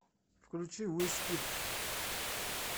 включи уизкид